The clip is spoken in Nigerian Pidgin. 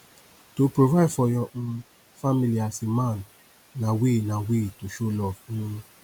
to provide for your um family as a man na way na way to show love um